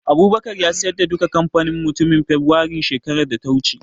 Abubakar ya siyar da duka kamfanin ga mutumin Fibirairun shekarar da ta wuce